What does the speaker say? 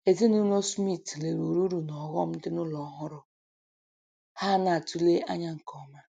Ezinụlọ Smith leruru uru na ọghọm dị na ụlọ ọhụrụ ha na-atụle anya nke ọma